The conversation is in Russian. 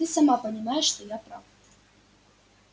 ты сама понимаешь что я прав